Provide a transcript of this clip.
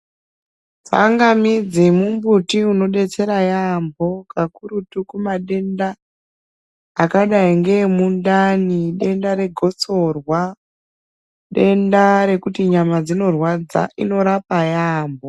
Tsangamidzi mumbuti unobetsera yambo kakurutu kuma tenda akadai ngeemundani denda re gotsorwa denda rekuti nyama dzinorwadza inorapa yambo.